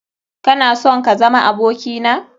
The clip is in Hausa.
Kana sonm kazama abokina?